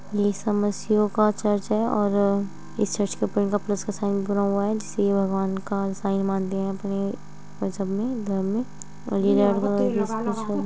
ये समस्यों का चर्च है और अ इस चर्च के ऊपर इनका प्लस का साइन बना हुआ है। जिसे ये भगवान का साइन मानते है अपने मजहब में धर्म में। और --